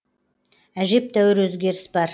әжептәуір өзгеріс бар